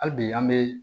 Hali bi an bɛ